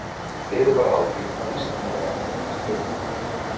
Bið varð á því, að Íslendingar endurheimtu flugkappann.